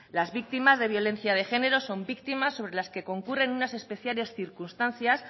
las víctimas de violencia de género son víctimas sobre las que concurren unas especiales circunstancias